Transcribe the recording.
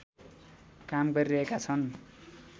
काम गरिरहेका छन्